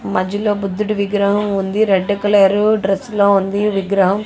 మధ్యలో బుద్ధుడి విగ్రహం ఉంది. రెడ్ కలర్ డ్రెస్ లో ఉంది విగ్రహం.